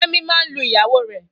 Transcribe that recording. Femi maa n lu iyawo re